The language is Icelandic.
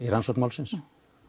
rannsókn málsins